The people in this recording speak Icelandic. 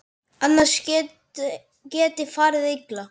Annars geti farið illa.